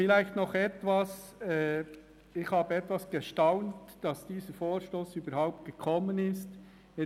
Vielleicht noch ein Punkt: Ich bin etwas erstaunt, dass dieser Vorstoss überhaupt auf der Traktandenliste steht.